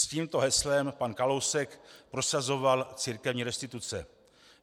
S tímto heslem pan Kalousek prosazoval církevní restituce.